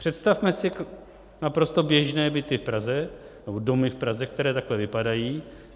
Představme si naprosto běžné byty v Praze nebo domy v Praze, které takhle vypadají.